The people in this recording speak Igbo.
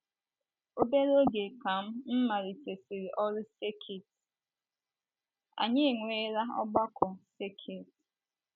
Obere oge ka m m malitesịrị ọrụ sekit, anyị enwela ọgbakọ sekit.